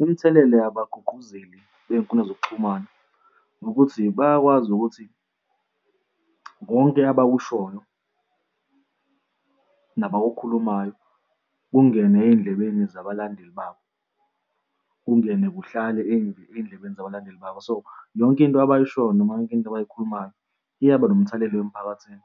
Imithelela yabagqugquzeli bey'nkundla zokuxhumana ukuthi bayakwazi ukuthi konke abakushoyo nabakukhulumayo kungene ey'ndlebeni zabalandeli babo, kungene kuhlale ey'ndlebeni nabalandeli babo. So, yonke into abayishoyo, noma yonke into abayikhulumayo iyaba nomthelelo emphakathini,